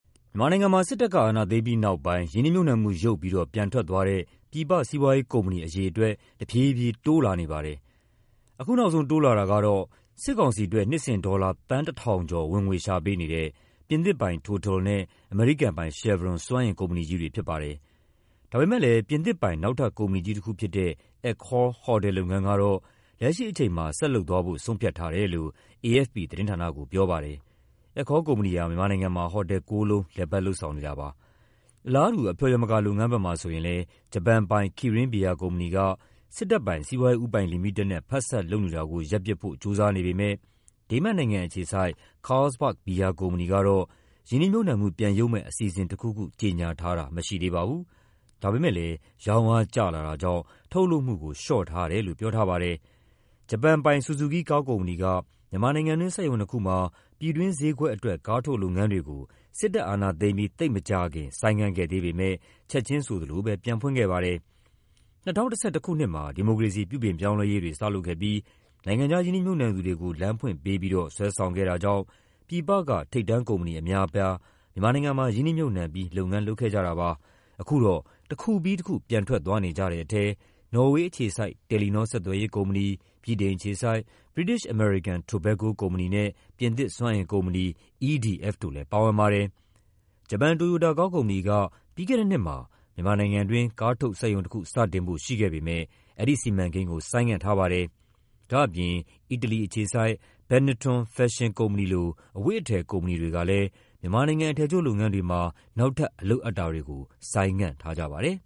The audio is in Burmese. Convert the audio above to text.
မြန်မာနိုင်ငံမှာ စစ်တပ်က အာဏာသိမ်းပြီးနောက်ပိုင်း ရင်းနှီးမြှုပ်နှံမှု ရုပ်ပြီးတော့ ပြန်ထွက်သွားတဲ့ ပြည်ပ စီးပွားရေးကုမ္ပဏီ အရေအတွက် တဖြည်းဖြည်း တိုးလာနေပါတယ်။ အခုနောက်ဆုံး တိုးလာတာကတော့ စစ်ကောင်စီအတွက် နှစ်စဉ် ဒေါ်လာ သန်း ၁,၀၀၀ ကျော် ဝင်ငွေရှာပေးနေတဲ့ ပြင်သစ်ပိုင် TOTAL နဲ့ အမေရိကန်ပိုင် Chevron စွမ်းအင်ကုမ္ပဏီကြီးတွေ ဖြစ်ပါတယ်။ ဒါပေမယ့်လည်း ပြင်သစ်ပိုင် နောက်ထပ် ကုမ္ပဏီကြီးတခုဖြစ်တဲ့ Accor ဟိုတယ်လုပ်ငန်းကတော့ လက်ရှိအချိန်မှာ ဆက်လုပ်သွားဖို့ ဆုံးဖြတ်ထားတယ်လို့ AFP သတင်းဌာနကို ပြောပါတယ်။ Accor ကုမ္ပဏီဟာ မြန်မာနိုင်ငံမှာ ဟိုတယ် ၉ လုံး လည်ပတ် လုပ်ဆောင်နေတာပါ။ အလားတူ အဖျော်ယမကာလုပ်ငန်းဘက်မှာ ဆိုရင်လည်း ဂျပန်ပိုင် Kirin ဘီယာကုမ္ပဏီက စစ်တပ်ပိုင် စီးပွားရေးဦးပိုင်လီမိတက်နဲ့ ဖက်စပ်လုပ်နေတာကို ရပ်ပစ်ဖို့ ကြိုးစားနေပေမယ့် ဒိန်းမတ်နိုင်ငံအခြေစိုက် Carlsberg ဘီယာကုမ္ပဏီကတော့ ရင်းနှီးမြှုပ်နှံမှု ပြန်ရုပ်မယ့် အစီအစဉ်တခုခု ကြေညာထားတာ မရှိသေးပါဘူး။ ဒါပေမယ့်လည်း ရောင်းအားကျလာတာကြောင့် ထုတ်လုပ်မှုကို လျှော့ထားတယ်လို့ ပြောထားပါတယ်။ ဂျပန်ပိုင် ဆူဇူကီး ကားကုမ္ပဏီက မြန်မာနိုင်ငံတွင်း စက်ရုံနှစ်ခုမှာ ပြည်တွင်းဈေးကွက်အတွက် ကားထုတ်လုပ်ငန်းတွေကို စစ်တပ်အာဏာသိမ်းပြီး သိပ်မကြာခင် ဆိုင်းငံ့ခဲ့ပေမယ့် ချက်ချင်းဆိုသလိုပဲ ပြန်ဖွင့်ခဲ့ပါတယ်။ ၂၀၁၁ ခုနှစ်မှာ ဒီမိုကရေစီ ပြုပြင်ပြောင်းလဲရေးတွေ စလုပ်ခဲ့ပြီး နိုင်ငံခြားရင်းနှီးမြှုပ်နှံသူတွေကို လမ်းဖွင့်ပေးပြီးတော့ ဆွဲဆောင်ခဲ့တာကြောင့် ပြည်ပက ထိပ်တန်းကုမ္ပဏီ အများအပြား မြန်မာနိုင်ငံမှာ ရင်းနှီးမြှုပ်နှံပြီး လုပ်ငန်းလုပ်ခဲ့ကြတာပါ။ အခုတော့ တခုပြီးတခု ပြန်ထွက်သွားနေကြတဲ့ထဲ နော်ဝေအခြေစိုက် တယ်လီနော ဆက်သွယ်ရေးကုမ္ပဏီ၊ ဗြိတိန်အခြေစိုက် British American Tobacco ကုမ္ပဏီနဲ့ ပြင်သစ်စွမ်းအင်ကုမ္ပဏီ EDF တို့လည်း ပါဝင်ပါတယ်။ ဂျပန် တိုယိုတာကားကုမ္ပဏီက ပြီးခဲ့တဲ့နှစ်မှာ မြန်မာနိုင်ငံတွင်း ကားထုတ်စက်ရုံတခု စတင်ဖို့ ရှိခဲ့ပေမယ့် အဲဒီစီမံကိန်းကို ဆိုင်းငံ့ထားပါတယ်။ ဒါ့အပြင် အီတလီအခြေစိုက် Benetton ဖက်ရှင်ကုမ္ပဏီလို အဝတ်အထည် ကုမ္ပဏီတွေကလည်း မြန်မာနိုင်ငံ အထည်ချုပ်လုပ်ငန်းတွေမှာ နောက်ထပ် အလုပ်အပ်တာတွေကို ဆိုင်းငံ့ထားကြပါတယ်